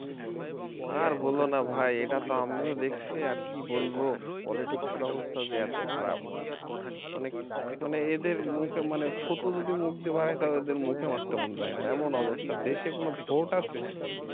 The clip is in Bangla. আর বলো না ভাই এটাতো আমিও দেখছি আর কি বলবো politics এর অবস্থা যে এত খারাপ মানে এদের মুখে মানে থুথু যদি মুখ দিয়ে বার হই তাও এদের মুখে মারতে মন চায় না এমন অবস্থা দেশে কোন vote আছে